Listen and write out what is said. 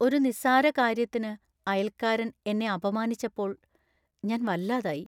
ഒരു നിസ്സാരകാര്യത്തിന് അയൽക്കാരൻ എന്നെ അപമാനിച്ചപ്പോൾ ഞാന്‍ വല്ലാതായി.